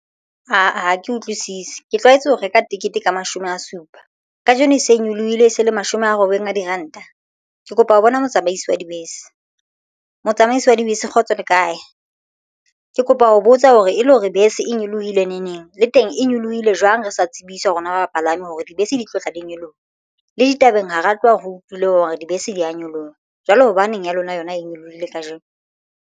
Aa ha ke utlwisisi ke tlwaetse ho reka tekete ka mashome a supa kajeno e se e nyolohile e se le mashome a robedi a diranta. Ke kopa ho bona motsamaisi wa dibese motsamaisi wa dibese kgotso le kae? Ke kopa ho botsa hore e le hore bese e nyolohile ne neng le teng e nyolohile jwang re sa tsebiswa hore na bapalami hore dibese di tlotla di nyoloha le ditabeng ha re tloha re utlwile hore dibese di ya nyoloha. Jwale hobaneng ya lona yona e nyolohile kajeno?